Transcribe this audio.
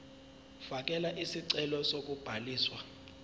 fakela isicelo sokubhaliswa